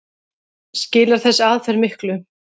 Skilar þessi aðferð miklu?